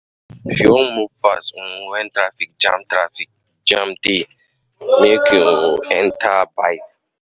If you wan move fast um wen traffic jam traffic jam dey, make um you enta bike.